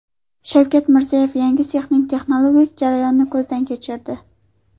Shavkat Mirziyoyev yangi sexning texnologik jarayonini ko‘zdan kechirdi.